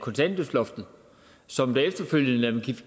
af kontanthjælpsloftet som efterfølgende da